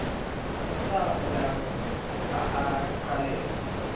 sa bollang a a qhaleha